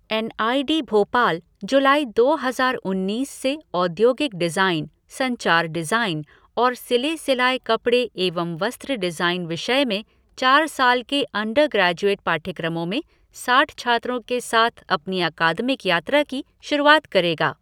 N I D Bhopal जुलाई दो हज़ार उन्नीस से औद्योगिक डिज़ाइन, संचार डिज़ाइन और सिले सिलाए कपड़े एवं वस्त्र डिज़ाइन विषय में चार साल के अंडर ग्रैजुएट पाठयक्रमों में साठ छात्रों के साथ अपनी अकादमिक यात्रा की शुरूआत करेगा।